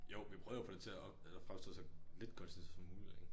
Jo vi prøvede jo at få det til at fremstå så lidt kunstigt som muligt ikke